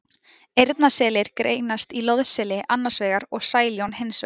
Eyrnaselir greinast í loðseli annars vegar og sæljón hins vegar.